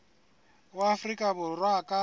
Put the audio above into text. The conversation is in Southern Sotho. wa afrika borwa a ka